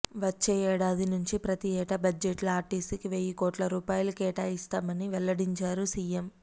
వచ్చే ఏడాది నుంచి ప్రతీ ఏటా బడ్జెట్లో ఆర్టీసీకి వెయ్యి కోట్ల రూపాయలు కేటాయిస్తామని వెల్లడించారు సీఎం